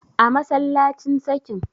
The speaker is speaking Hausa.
a masallacin sakin